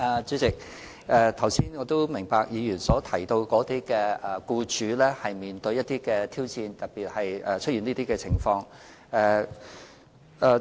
主席，我明白議員剛才提到僱主面對的挑戰，特別是出現以上情況的時候。